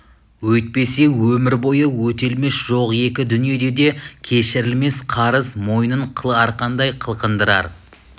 өйтпесе өмір бойы өтелмес жоқ екі дүниеде де кешірілмес қарыз мойнын қыл арқандай қылқындырар